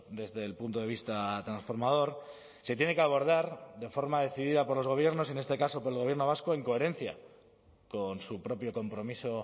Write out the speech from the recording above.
desde el punto de vista transformador se tiene que abordar de forma decidida por los gobiernos en este caso por el gobierno vasco en coherencia con su propio compromiso